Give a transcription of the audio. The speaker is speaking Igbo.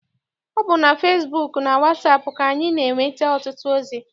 Ọ bụ na fesibuuku na wasaapụ ka anyị na-enweta ọtụtụ ozi.